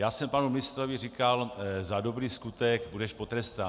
Já jsem panu ministrovi říkal: za dobrý skutek budeš potrestán.